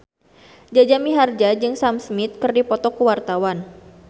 Jaja Mihardja jeung Sam Smith keur dipoto ku wartawan